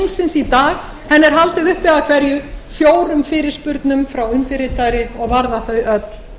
í dag er haldið uppi af hverju fjórum fyrirspurnum frá undirritaðri og varða